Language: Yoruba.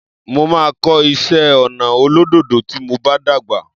Mo máa kọ́ iṣé ọnà olódòdó tí mo bá dàgbà.